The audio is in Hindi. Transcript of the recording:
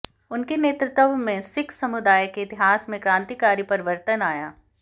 उनके नेतृत्व में सिख समुदाय के इतिहास में क्रांतिकारी परिवर्तन आया